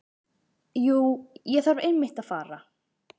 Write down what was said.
Jú, ég þarf einmitt að fara.